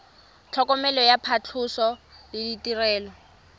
tlhokomelo ya phatlhoso le ditirelo